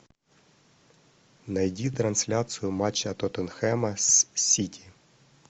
найди трансляцию матча тоттенхэма с сити